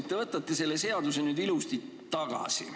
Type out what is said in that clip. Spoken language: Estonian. –, et te võtate selle seaduseelnõu nüüd ilusti tagasi.